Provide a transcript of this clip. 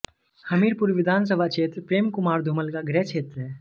हमीरपुर विधानसभा क्षेत्र प्रेम कुमार धूमल का गृहक्षेत्र है